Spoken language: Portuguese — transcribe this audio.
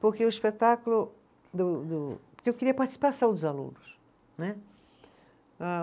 Porque o espetáculo do, do, porque eu queria a participação dos alunos, né. Ah